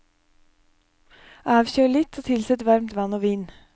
Avkjøl litt og tilsett varmt vann og vin.